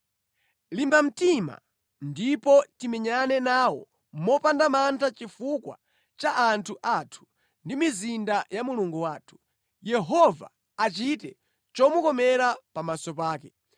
Limba mtima ndipo timenyane nawo mopanda mantha chifukwa cha anthu athu ndi mizinda ya Mulungu wathu. Yehova achite chomukomera pamaso pake.”